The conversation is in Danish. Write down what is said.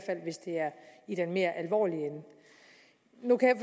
i den mere alvorlige ende nu kan